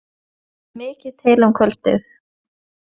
Það stóð mikið til um kvöldið.